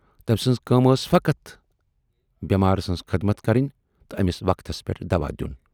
تۭمۍ سٕنز کٲم ٲس فقط بیمارٕ سٕنز خدمت کرٕنۍ تہٕ ٲمِس وقتَس پٮ۪ٹھ دوا دیُن۔